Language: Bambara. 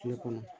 Kile kɔnɔ